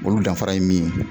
Olu danfara ye min ye ?